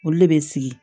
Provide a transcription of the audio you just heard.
Olu de bɛ sigi